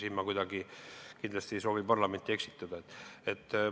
Siin ma kindlasti ei soovi parlamenti kuidagi eksitada.